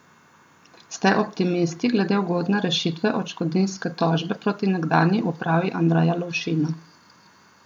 Ste optimisti glede ugodne rešitve odškodninske tožbe proti nekdanji upravi Andreja Lovšina?